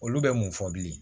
Olu bɛ mun fɔ bilen